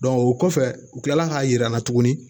o kɔfɛ u kilala k'a jir'an na tuguni